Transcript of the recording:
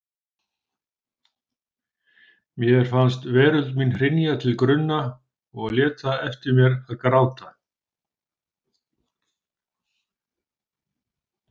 Mér fannst veröld mín hrynja til grunna og lét það eftir mér að gráta.